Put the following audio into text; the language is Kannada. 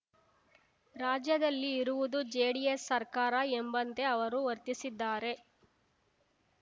ರಾಜ್ಯದಲ್ಲಿ ಇರುವುದು ಜೆಡಿಎಸ್‌ ಸರ್ಕಾರ ಎಂಬಂತೆ ಅವರು ವರ್ತಿಸಿದ್ದಾರೆ